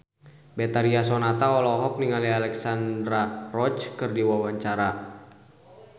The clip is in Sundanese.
Betharia Sonata olohok ningali Alexandra Roach keur diwawancara